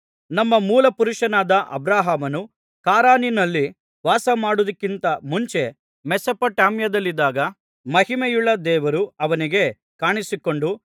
ನಮ್ಮ ಮೂಲಪುರುಷನಾದ ಅಬ್ರಹಾಮನು ಖಾರಾನಿನಲ್ಲಿ ವಾಸಮಾಡಿದ್ದಕ್ಕಿಂತ ಮುಂಚೆ ಮೆಸೊಪೊತಾಮ್ಯದಲ್ಲಿದ್ದಾಗ ಮಹಿಮೆಯುಳ್ಳ ದೇವರು ಅವನಿಗೆ ಕಾಣಿಸಿಕೊಂಡು